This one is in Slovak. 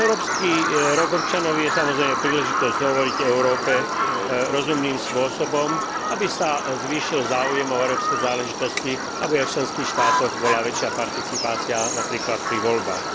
Európsky rok občanov je, samozrejme, príležitosťou hovoriť o Európe rozumným spôsobom, aby sa zvýšil záujem o európske záležitosti, aby aj v členských štátoch bola väčšia participácia napríklad na voľbách.